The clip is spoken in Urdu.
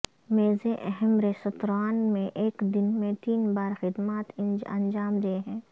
میزیں اہم ریستوران میں ایک دن میں تین بار خدمات انجام دیں ہیں